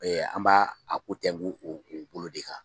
An b'a a ko tɛnku o o bolo de kan.